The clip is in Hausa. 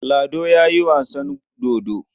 Lado ya yi wasan dodo.